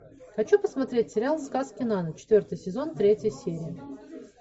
хочу посмотреть сериал сказки на ночь четвертый сезон третья серия